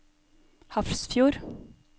Hafrsfjord